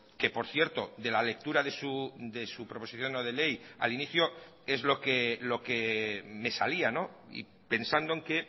que por cierto de la lectura de su proposición no de ley al inicio es lo que me salía y pensando en que